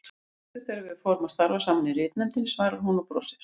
Í vetur þegar við fórum að starfa saman í ritnefndinni, svarar hún og brosir.